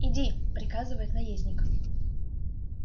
иди приказывает наездник